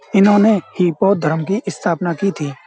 इन्होंने ही बौद्ध धर्म की स्थापना की थी।